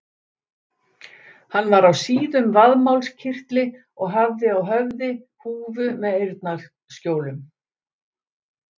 Hann var á síðum vaðmálskyrtli og hafði á höfði húfu með eyrnaskjólum.